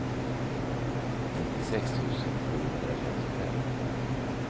nittiosex tusen sjuhundrafemtiofem